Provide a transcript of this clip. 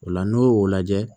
O la n'o y'o lajɛ